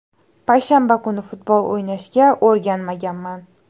Payshanba kuni futbol o‘ynashga o‘rganmaganman.